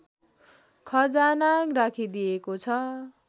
खजाना राखिदिएको छ